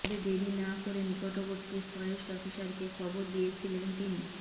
তবে দেরি না করে নিকটবর্তী ফরেস্ট অফিসারকে খবর দিয়েছিলেন তিনি